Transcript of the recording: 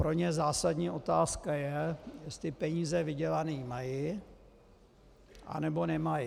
Pro ně zásadní otázka je, jestli peníze vydělané mají, nebo nemají.